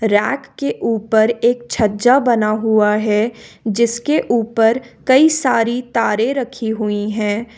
Rack के ऊपर एक छज्जा बना हुआ है जिसके ऊपर कई सारी तारें रखी हुई है।